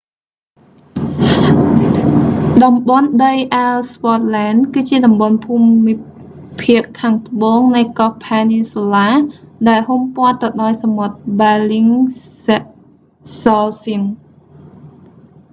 តំបន់ដីអ៊ែលស្វ័ដឡែន ellsworth land គឺជាតំបន់ភូមិភាគខាងត្បូងនៃកោះភែនីនស៊ូឡា peninsula ដែលហ៊ុំព័ទ្ធទៅដោយសមុទ្រ ប៊ែលលីងហ្សោសិន bellingshausen